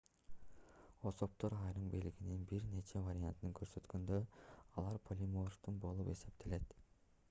особдор айрым белгинин бир нече вариантын көрсөткөндө алар полиморфтуу болуп эсептелет